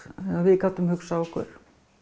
við gátum hugsað okkur